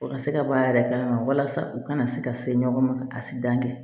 O ka se ka b'a yɛrɛ kalama walasa u kana se ka se ɲɔgɔn ma ka sidan kɛ